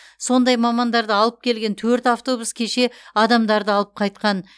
сондай мамандарды алып келген төрт автобус кеше адамдарды алып қайтқан